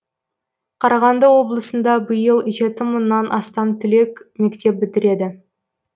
қарағанды облысында биыл жеті мыңнан астам түлек мектеп бітіреді